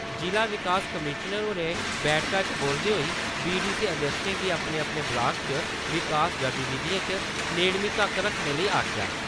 जि'ला विकास कमिशनर होरें बैठका च बोलदे होई बीडीसी अध्यक्षें गी अपने-अपने ब्लाकें च विकास गतिविधियें च नेड़मी तक्क रक्खने लेई आखेआ ।